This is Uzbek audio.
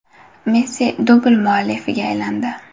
Messi dubl muallifiga aylandi.